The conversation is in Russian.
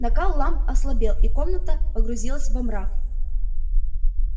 накал ламп ослабел и комната погрузилась во мрак